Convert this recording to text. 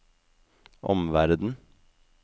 omverden